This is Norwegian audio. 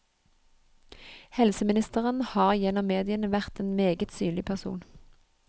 Helseministeren har gjennom mediene vært en meget synlig person.